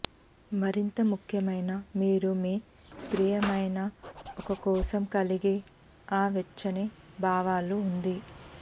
మరింత ముఖ్యమైన మీరు మీ ప్రియమైన ఒక కోసం కలిగి ఆ వెచ్చని భావాలు ఉంది